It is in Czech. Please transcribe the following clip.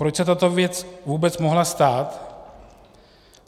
Proč se tato věc vůbec mohla stát?